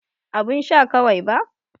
Abun sha kawai ba.